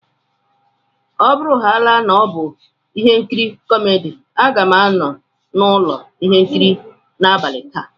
Ọ bụrụhàála na ọ bụ ihe nkiri kómédy, a ga m anọ n'ụlọ ihe nkiri n'abalị taa